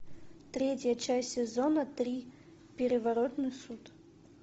третья часть сезона три переворотный суд